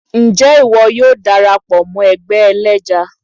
nje ìwò yóò darapọ mọ ẹgbẹ́ èlẹjá?